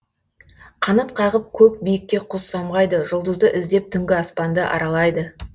қанат қағып көк биікке құс самғайды жұлдызды іздеп түнгі аспанды аралайды